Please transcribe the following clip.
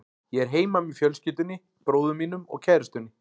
Ég er heima með fjölskyldunni, bróður mínum og kærustunni.